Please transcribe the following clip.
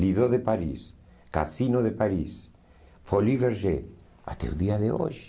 Lido de Paris, Cassino de Paris, Folie Verger, até o dia de hoje.